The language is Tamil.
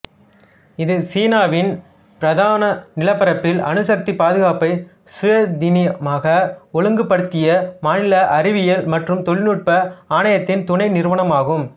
இது சீனாவின் பிரதான நிலப்பரப்பில் அணுசக்தி பாதுகாப்பை சுயாதீனமாக ஒழுங்குபடுத்திய மாநில அறிவியல் மற்றும் தொழில்நுட்ப ஆணையத்தின் துணை நிறுவனமாகும்